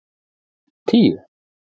tíu